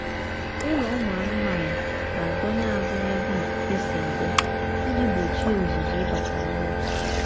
ụlọ ụmụ anụmanụ ga-adọnye azụ n'ebe ifufe si abịa iji gbochie ụzụzụ ịbata n'ụlọ